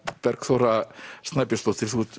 Bergþóra Snæbjörnsdóttir þú ert